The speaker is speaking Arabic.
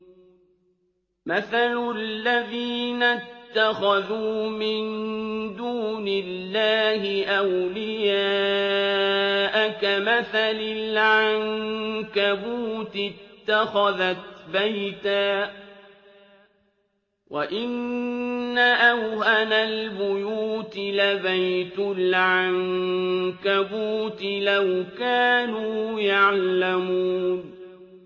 مَثَلُ الَّذِينَ اتَّخَذُوا مِن دُونِ اللَّهِ أَوْلِيَاءَ كَمَثَلِ الْعَنكَبُوتِ اتَّخَذَتْ بَيْتًا ۖ وَإِنَّ أَوْهَنَ الْبُيُوتِ لَبَيْتُ الْعَنكَبُوتِ ۖ لَوْ كَانُوا يَعْلَمُونَ